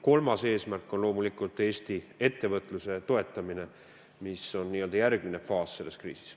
Kolmas eesmärk on loomulikult Eesti ettevõtluse toetamine, mis on n-ö järgmine faas selles kriisis.